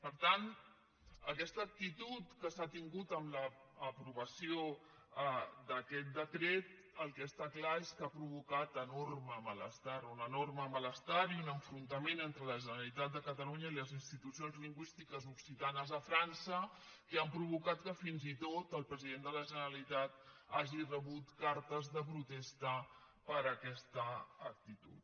per tant aquesta actitud que s’ha tingut en l’aprovació d’aquest decret el que està clar és que ha provocat enorme malestar un enorme malestar i un enfrontament entre la generalitat de catalunya i les institucions lingüístiques occitanes a frança que han provocat que fins i tot el president de la generalitat hagi rebut cartes de protesta per aquesta actitud